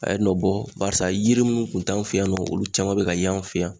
A ye nɔ bɔ barisa yiri munnu kun t'an fe yan nɔ olu caman be ka ye an fe yan